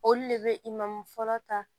Olu de bɛ fɔlɔ ta